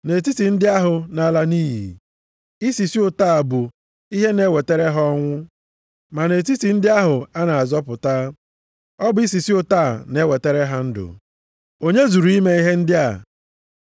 Nʼetiti ndị ahụ na-ala nʼiyi, isisi ụtọ a bụ ihe na-ewetara ha ọnwụ, ma nʼetiti ndị ahụ a na-azọpụta, ọ bụ isisi ụtọ a na-ewetara ha ndụ. Onye zuru ime ihe ndị a?